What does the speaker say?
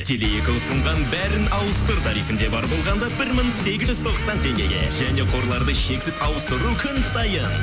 теле екі ұсынған бәрін ауыстыр тарифінде бар болғанда бір мың сегіз жүз тоқсан теңгеге және қорларды шексіз ауыстыру күн сайын